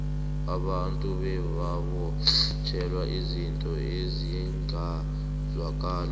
abantu bebabotjhelwa izinto ezingazwakaliko